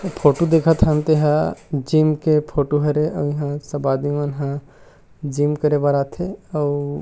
photo दिखा थन तेहा जिम के फोटो हरे अऊ इहाँ सब आदमी मन ह जिम करे वाला आथे अऊ--